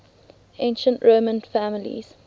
ancient roman families